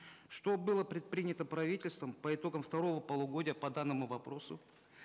что было предпринято правительством по итогам второго полугодия по данному вопросу